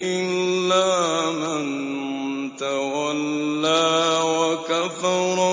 إِلَّا مَن تَوَلَّىٰ وَكَفَرَ